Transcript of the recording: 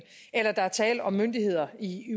eller der er tale om myndighederne i